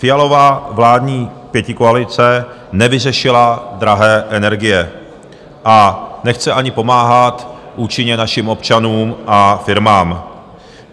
Fialova vládní pětikoalice nevyřešila drahé energie a nechce ani pomáhat účinně našim občanům a firmám.